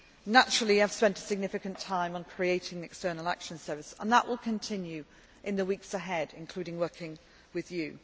Naturally, I have spent a significant amount of time on the creation of the External Action Service and that will continue in the weeks ahead, including working with you.